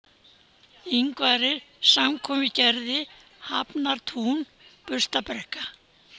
Ingvarir, Samkomugerði, Hafnartún, Burstabrekka